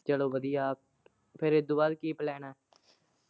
ਚੱਲੋ ਵਧੀਆ, ਫਿਰ ਇਹਦੇ ਬਾਅਦ ਕੀ plan ਐ।